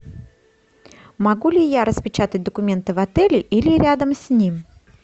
могу ли я распечатать документы в отеле или рядом с ним